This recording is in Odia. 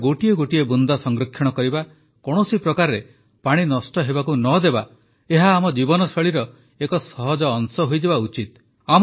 ପାଣିର ଗୋଟିଏ ଗୋଟିଏ ବୁନ୍ଦା ସଂରକ୍ଷଣ କରିବା କୌଣସି ପ୍ରକାରେ ପାଣି ନଷ୍ଟ ହେବାକୁ ନ ଦେବା ଏହା ଆମ ଜୀବନଶୈଳୀର ଏକ ସହଜ ଅଂଶ ହୋଇଯିବା ଉଚିତ